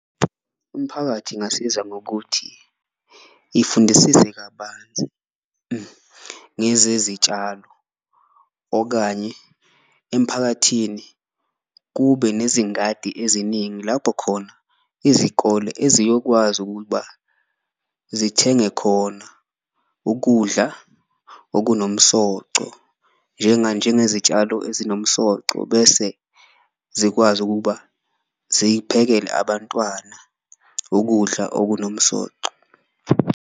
Umphakathi ingasiza ngokuthi ifundisise kabanzi ngezezitshalo okanye emphakathini kube nezingadi eziningi, lapho khona izikole eziyokwazi ukuba zithenge khona ukudla okunomsoco. Njengani? Njengezitshalo ezinomsoco bese zikwazi ukuba ziyiphekele abantwana ukudla okunomsoco.